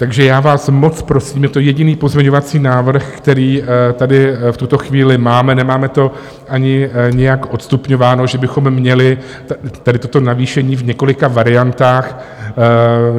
Takže já vás moc prosím, je to jediný pozměňovací návrh, který tady v tuto chvíli máme, nemáme to ani nějak odstupňováno, že bychom měli tady toto navýšení v několika variantách.